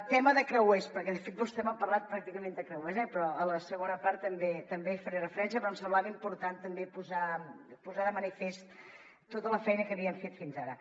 tema de creuers perquè de fet vostè m’ha parlat pràcticament de creuers eh a la segona part també hi faré referència però em semblava important també posar de manifest tota la feina que havíem fet fins ara